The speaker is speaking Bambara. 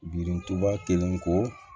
Birintuba kelen ko